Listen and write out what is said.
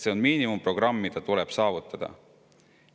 See on miinimumprogramm, mis tuleb saavutada.